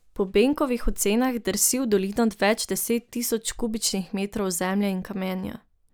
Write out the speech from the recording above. Po Benkovih ocenah drsi v dolino več deset tisoč kubičnih metrov zemlje in kamenja.